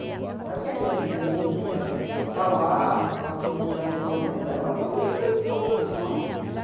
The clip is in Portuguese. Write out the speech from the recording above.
Não é porque a criança do morro, coitada, ela tá lá, naquela comunidade violenta, ela tá ali por causa de falta de opção.